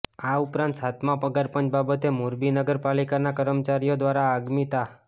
આ ઉપરાંત સાતમાં પગારપંચ બાબતે મોરબી નગર પાલિકાના કાર્મીચારીયો દ્વારા આગામી તા